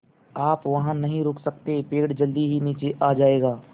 आप वहाँ नहीं रुक सकते पेड़ जल्दी ही नीचे आ जाएगा